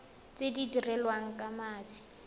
tse di dirilweng ka mashi